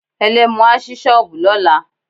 Ẹlẹ́mu á sí shọ́ọ̀bù lọ́la.